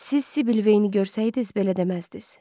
Siz Sibyl Vayne-i görsəydiz belə deməzdiz.